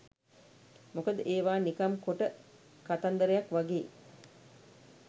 මොකද ඒවා නිකම් කොට කතන්දරයක් වගේ